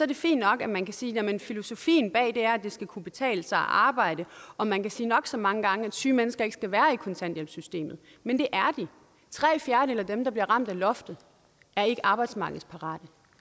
det fint nok at man kan sige jamen filosofien bag det er at det skal kunne betale sig at arbejde og man kan sige nok så mange gange at syge mennesker ikke skal være i kontanthjælpssystemet men det er de tre fjerdedele af dem der bliver ramt af loftet er ikke arbejdsmarkedsparate